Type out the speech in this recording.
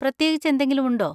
പ്രത്യേകിച്ച് എന്തെങ്കിലും ഉണ്ടോ?